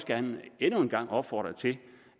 gerne endnu en gang opfordre til